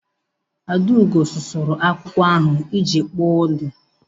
Adaugo sụrụri akwụkwọ ahụ iji kpụọ udu.